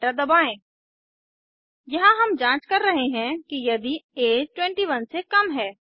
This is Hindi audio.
एंटर दबाएँ यहाँ हम जांच कर रहे हैं कि यदि ऐज 21 से कम है